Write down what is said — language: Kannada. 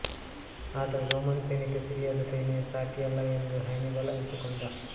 ಆದರೆ ರೋಮನ್ ಸೈನ್ಯಕ್ಕೆ ಸಿರಿಯಾದ ಸೈನ್ಯ ಸಾಟಿಯಲ್ಲ ಎಂದು ಹ್ಯಾನಿಬಲ್ ಅರಿತುಕೊಂಡ